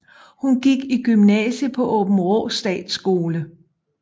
Hun gik i gymnasiet på Aabenraa Statsskole